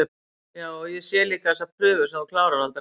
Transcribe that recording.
Já, og ég sé líka þessa prufu sem þú klárar aldrei